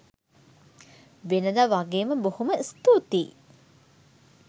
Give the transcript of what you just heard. වෙනදා වගේම බොහොම ස්තුතියි